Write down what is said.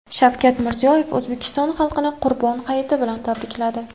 Shavkat Mirziyoyev O‘zbekiston xalqini Qurbon hayiti bilan tabrikladi .